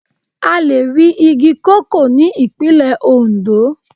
A lè rí igi koko ní Ìpínlẹ̀ Ondo.